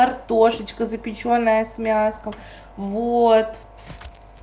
картошечка запечённая с мясом вот